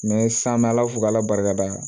sisan an bɛ ala fo k'ala barikada yan